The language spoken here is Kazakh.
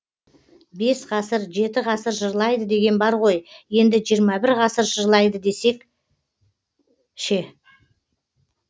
бес ғасыр жеті ғасыр жырлайды деген бар ғой енді жиырма бір ғасыр жырлайды десек ше